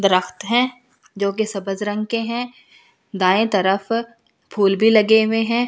जो कि रंग के है दाये तरफ फूल भी लगे हुए है।